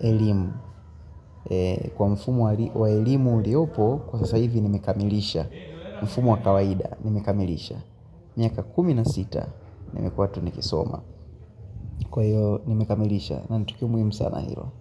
elimu, kwa mfumo wa elimu iliopo, kwa sasa hivi nimekamilisha, mfumo wa kawaida, nimekamilisha. Miaka kumi na sita, nimekuwa tu nikisoma. Kwa hiyo, nimekamilisha, na ni tukio muhimu sana hilo.